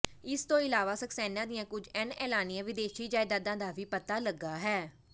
ਇਸ ਤੋਂ ਇਲਾਵਾ ਸਕਸੈਨਾ ਦੀਆਂ ਕੁਝ ਅਣਐਲਾਨੀਆਂ ਵਿਦੇਸ਼ੀ ਜਾਇਦਾਦਾਂ ਦਾ ਵੀ ਪਤਾ ਲੱਗਾ ਹੈ